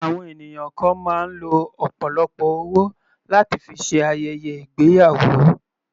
Àwọn ènìyàn kan máa ń lo ọ̀pọ̀lọpọ̀ owó láti fi ṣe ayẹyẹ ìgbéyàwó.